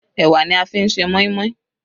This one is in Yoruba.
Ẹ̀wà ni a fi ń ṣe moin-moin.